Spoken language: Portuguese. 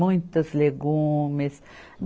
Muitas legumes.